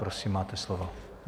Prosím, máte slovo.